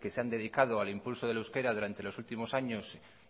que se han dedicado al impulso del euskera durante los últimos años